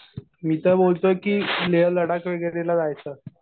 मी तर बोलतोय कि लेह-लडाख वगैरेला जायचं.